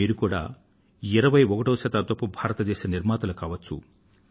మీరు కూడా 21వ శతాబ్దపు భారతదేశ నిర్మాతలు కావచ్చు